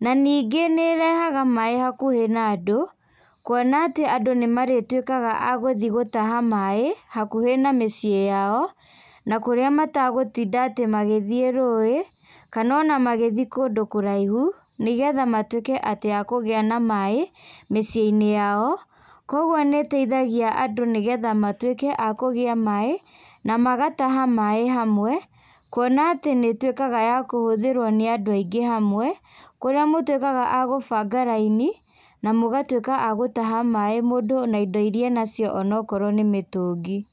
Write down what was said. na nĩngĩ nĩrehaga maĩ hakuhĩ na andũ, kuona atĩ andũ nĩmarĩtuĩkaga a gũthiĩ gũtaha maĩ hakuhĩ na mĩciĩ yao, na kũrĩa matagũtinda atĩ magĩthĩi rũĩ, kana ona magĩthiĩ kũndũ kũraihu, nĩgetha matuĩke atĩ akũgĩa na maĩ, mĩciĩinĩ yao, koguo nĩteithagia andũ nĩgetha matuĩke a kũgĩa maĩ, namagataha maĩ hamwe, kuona atĩ nĩtuĩkaga ya kũhũthĩrwo nĩ andũ aingĩ hamwe, kũrĩa mũtuĩkaga a gũbũnga raini, na mũgatuĩka a gũtaha maĩ mũndũ na indo iria enacio onokorwo nĩ mĩtungi.